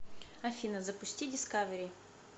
афина запусти дискавери